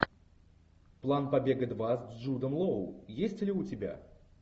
план побега два с джудом лоу есть ли у тебя